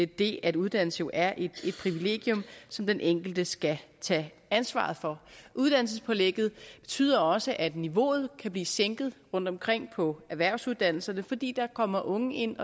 det at uddannelse er et privilegium som den enkelte skal tage ansvaret for uddannelsespålægget betyder også at niveauet kan blive sænket rundtomkring på erhvervsuddannelserne fordi der kommer unge ind